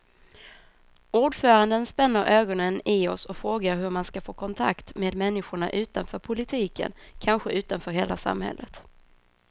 Ordföranden spänner ögonen i oss och frågar hur man ska få kontakt med människorna utanför politiken, kanske utanför hela samhället.